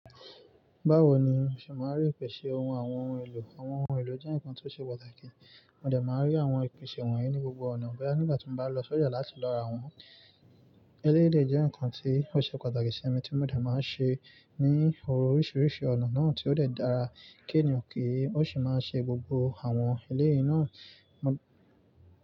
Báwo ni o ṣe máa rí ìpèsè ohun àwọn ohun èlò? Àwọn ohun èlò jẹ́ ǹkan tó ṣe pàtàkì. Mo dẹ̀ máa rí àwọn ìpèsè wọ̀nyí ní gbogbo ọ̀nà. Bẹ́yà nígbà tí mo bá lọ sójà láti lọ ra wọn. Eléyi dẹ jẹ́ ǹkan tí ó ṣe pàtàkì ṣe èmi tí mo dẹ̀ máa ṣe ní oríṣiríṣi ọ̀nà náà tí ó dẹ̀ dára. Kí ni òkè ó sì máa ṣe gbogbo àwọn eléyìí náà máa.